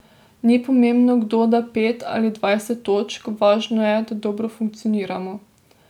Ni pomembno, kdo da pet ali dvajset točk, važno je, da dobro funkcioniramo.